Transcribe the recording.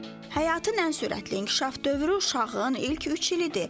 Həyatın ən sürətli inkişaf dövrü uşağın ilk üç ilidir.